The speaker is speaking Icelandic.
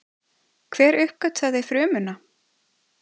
Hver uppgötvaði frumuna?